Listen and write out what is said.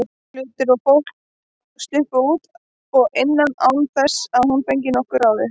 Hlutir og fólk sluppu út og inn án þess að hún fengi nokkuð við ráðið.